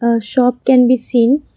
a shop can be seen.